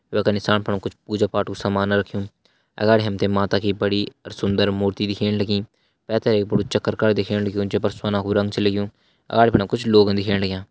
वेका नीसाण फण कुछ पूजा पाठु समान रख्युं अगाड़ी हमते माता की बड़ी अर सुन्दर मूर्ति दिखेण लगीं पैथर एक बड़ु चक्रकर दिखेण लग्युं जैपर सोना कू रंग च लग्युं अगाड़ी फणा कुछ लोग दिखेण लग्यां।